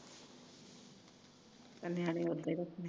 ਨਿਆਣੇ ਉਦਾ ਟੁਟ ਗਏ